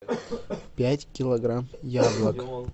пять килограмм яблок